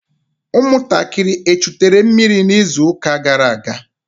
ụmụntakịrị echutere mmiri n'izuụka gara aga?